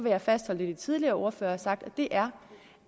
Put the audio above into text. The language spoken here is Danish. jeg fastholde det de tidligere ordførere har sagt og det er